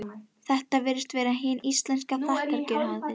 Þetta virðist vera hin íslenska þakkargjörðarhátíð.